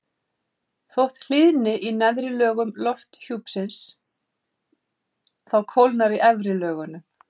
þótt hlýni í neðri lögum lofthjúpsins þá kólnar í efri lögunum